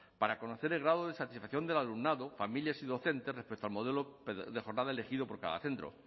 para conocer el grado de satisfacción del alumnado familias y docentes respecto al modelo de jornada elegido por cada centro